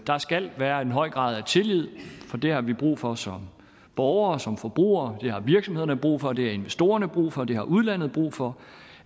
der skal være en høj grad af tillid for det har vi brug for som borgere og som forbrugere det har virksomhederne brug for det har investorerne brug for det har udlandet brug for